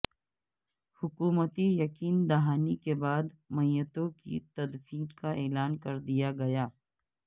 حکومتی یقین دہانی کے بعد میتوں کی تدفین کا اعلان کر دیا گیا